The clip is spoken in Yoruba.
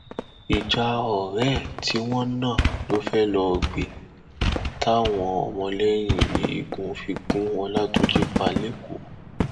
nítorí tí wọn ń gbé ohun ìjà olóró kiri lọnà àìtó nscdc mú àfúrásì méjì ní kwara